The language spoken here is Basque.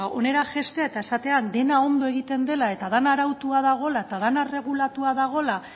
ba hona jaistea eta esatea dena ondo egiten dela eta dena arautua dagoela eta dena erregulatua dagoela